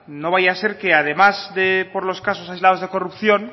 no vaya a ser que además de por los casos aislados de corrupción